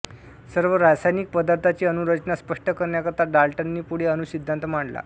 सर्व रासायनिक पदार्थांची अणु रचना स्पष्ट करण्याकरिता डाल्टननी पुढे अणु सिद्धांत मांडला